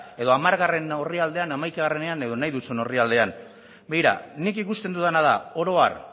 edo hamargarrena orrialdean hamaikaean edo nahi duzun orrialdean begira nik ikusten dudana da oro har